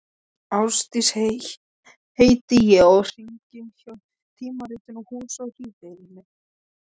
Ásdís heiti ég og hringi frá tímaritinu Hús og híbýli.